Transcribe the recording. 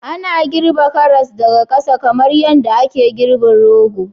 Ana girbe karas daga ƙasa kamar yadda ake girbin rogo